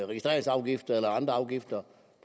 registreringsafgiften eller andre afgifter